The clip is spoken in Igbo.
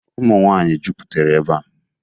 Ụmụnwaanyị jupụtere ebea.